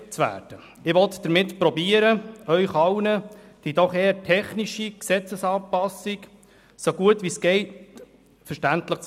Ich will versuchen, Ihnen die doch eher technische Gesetzesanpassung so wie möglich verständlich darzulegen.